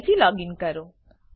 ફરીથી લોગીન કરો